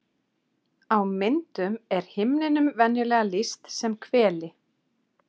Á myndum er himninum venjulega lýst sem hveli.